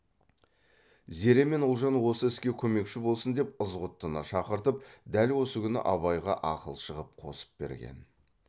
зере мен ұлжан осы іске көмекші болсын деп ызғұттыны шақыртып дәл осы күні абайға ақылшы ғып қосып берген